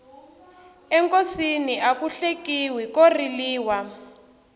enkosini aku hlekiwi ko riliwa